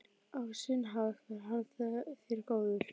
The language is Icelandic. Á sinn hátt var hann þér góður.